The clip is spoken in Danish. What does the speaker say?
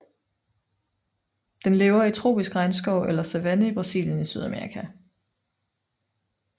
Den lever i tropisk regnskov eller savanne i Brasilien i Sydamerika